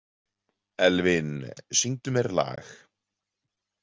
Elvin, syngdu mér lag.